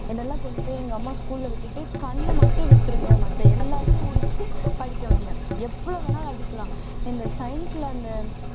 என்னை எல்லாம் கொண்டு போய் எங்க அம்மா school ல விட்டுட்டு கண்ணை மட்டும் விட்டிருங்க மத்த எல்லாத்தையும் உரிச்சு படிக்க வைங்க எவ்வளவு வேணாலும் அடிக்கலாம் இந்த அந்த